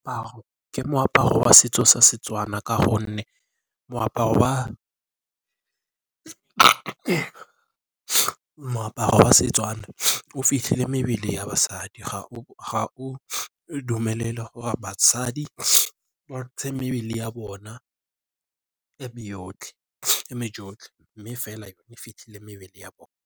Ke moaparo wa setso sa Setswana ka gonne moaparo wa Setswana o fitlhile mebele ya basadi ga o dumelele gore basadi ba ntshe mebele ya bona e me yotlhe mme fela e fitlhile mebele ya bone.